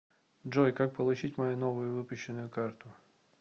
джой как получить мою новую выпущенную карту